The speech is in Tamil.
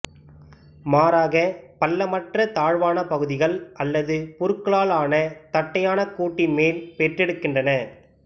மாறாக பள்ளமற்ற தாழ்வான பகுதிகள் அல்லது புற்களால் ஆன தட்டையான கூட்டின் மேல் பெற்றெடுக்கின்றன